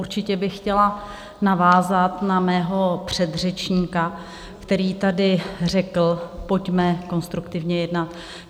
Určitě bych chtěla navázat na svého předřečníka, který tady řekl, pojďme konstruktivně jednat.